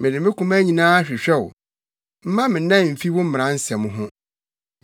Mede me koma nyinaa hwehwɛ wo; mma me mman mfi wo mmara nsɛm ho.